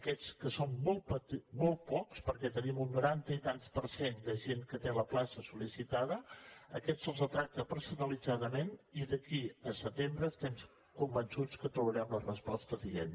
aquests que en són molt pocs perquè tenim un noranta i tants per cent de gent que té la plaça sol·licitada aquests se’ls tracta personalitzadament i d’aquí a setembre estem convençuts que trobarem la resposta adient